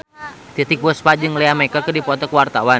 Titiek Puspa jeung Lea Michele keur dipoto ku wartawan